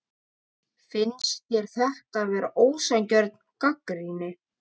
Finnst þér þetta vera ósanngjörn gagnrýni?